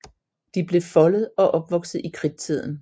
De blev foldet og opvokset i Kridtiden